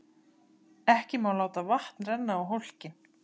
Ekki má láta vatn renna á hólkinn.